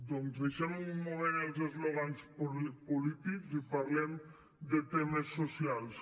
doncs deixem un moment els eslògans polítics i parlem de temes socials